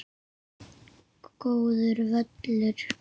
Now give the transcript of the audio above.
Góður völlur.